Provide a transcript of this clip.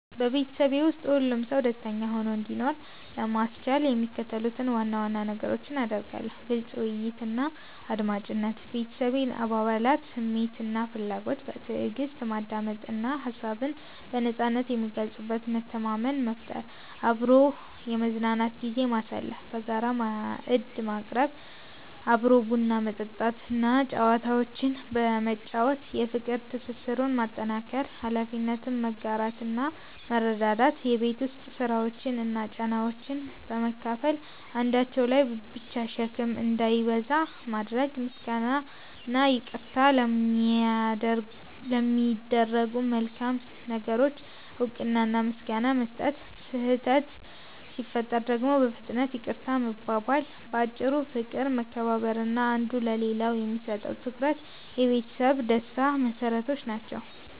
በቤተሰቤ ውስጥ ሁሉም ሰው ደስተኛ ሆኖ እንዲኖር ለማስቻል የሚከተሉትን ዋና ዋና ነገሮች አደርጋለሁ፦ ግልጽ ውይይትና አድማጭነት፦ የቤተሰቤን አባላት ስሜትና ፍላጎት በትዕግስት ማዳመጥ እና ሀሳብን በነጻነት የሚገልጹበት መተማመን መፍጠር። አብሮ የመዝናኛ ጊዜ ማሳለፍ፦ በጋራ ማዕድ መቅረብ፣ አብሮ ቡና መጠጣት እና ጨዋታዎችን በመጫወት የፍቅር ትስስሩን ማጠናከር። ኃላፊነትን መጋራትና መረዳዳት፦ የቤት ውስጥ ስራዎችን እና ጫናዎችን በመካፈል አንዳቸው ላይ ብቻ ሸክም እንዳይበዛ ማድረግ። ምስጋናና ይቅርታ፦ ለሚደረጉ መልካም ነገሮች እውቅና እና ምስጋና መስጠት፣ ስህተት ሲፈጠር ደግሞ በፍጥነት ይቅርታ መባባል። ባጭሩ፦ ፍቅር፣ መከባበር እና አንዱ ለሌላው የሚሰጠው ትኩረት የቤተሰብ ደስታ መሰረቶች ናቸው።